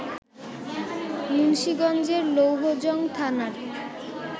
মুন্সীগঞ্জের লৌহজং থানার